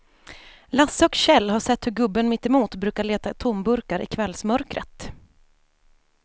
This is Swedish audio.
Lasse och Kjell har sett hur gubben mittemot brukar leta tomburkar i kvällsmörkret.